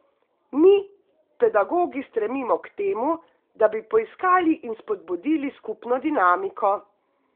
Mi, pedagogi, stremimo k temu, da bi poiskali in spodbudili skupno dinamiko.